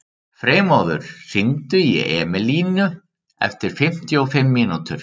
Freymóður, hringdu í Emelínu eftir fimmtíu og fimm mínútur.